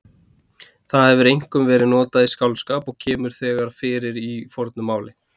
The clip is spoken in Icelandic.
Það hefur einkum verið notað í skáldskap og kemur þegar fyrir í fornu máli.